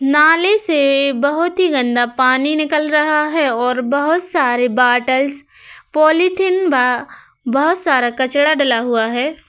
नाले से बहोत ही गन्दा पानी निकल रहा है और बहोत सारे बोतल पॉलिथीन व बहोत सारा कचरा डला हुआ है।